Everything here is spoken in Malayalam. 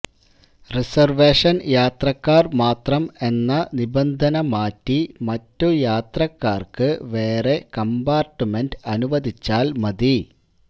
റിസര്വേഷന് യാത്രക്കാര് മാത്രം എന്ന നിബന്ധന മാറ്റി മറ്റു യാത്രക്കാര്ക്ക് വേറെ കംപാര്ട്ട്മെന്റ് അനുവദിച്ചാല് മതി